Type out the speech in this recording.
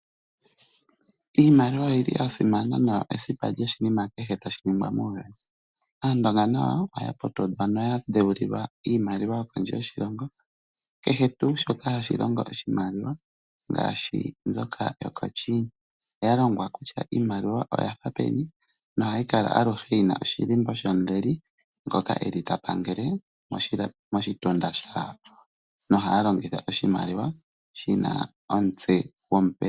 Iimaliwa oyili ya simana noyili esipa lyo shinima kehe tashi nigwa. Aandonga nayo oya putudhwa noya dhewu lilwa iimaliwa yo kondje yoshilongo. Kehe tuu shoka hashi longo oshimaliwa ngaashi mboka yoko China oya lombwelwa kutya iimaliwa oyafa peni nohayi kala aluhe yina oshilimbo shomuleli ngoka eli ta pangele moshitunda shoka, nohaya longitha oshimaliwa shina omutse gomupresidente.